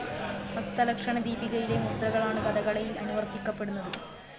ഹസ്തലക്ഷണ ദീപികയിലെ മുദ്രകളാണ് കഥകളിയിൽ അനുവർത്തിക്കപ്പെടുന്നത്.